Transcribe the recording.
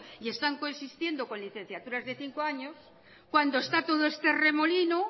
y están consistiendo con licenciaturas de cinco años cuando está todo este remolino